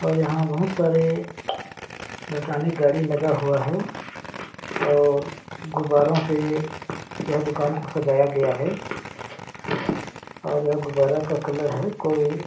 और यहाँ बहुत सारे इलेक्ट्रॉनिक गाड़ी लगा हुआ है और गुब्बारो से यह दुकान खोदाया गया है और यह गुब्बारा का कलर है कोई--